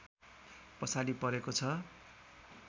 पछाडि परेको छ